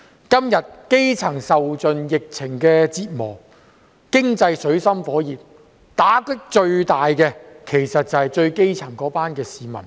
基層市民在今天受盡疫情折磨，經濟陷入水深火熱，打擊最大的就是一群最基層的市民。